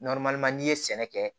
n'i ye sɛnɛ kɛ